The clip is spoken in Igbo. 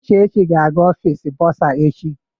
Uchechi ga-aga Ọfịs bọrzà echi.